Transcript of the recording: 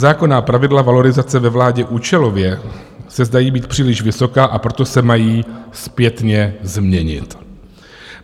Zákonná pravidla valorizace ve vládě účelově se zdají být příliš vysoká, a proto se mají zpětně změnit.